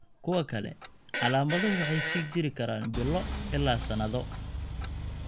Kuwa kale, calaamaduhu waxay sii jiri karaan bilo ilaa sannado.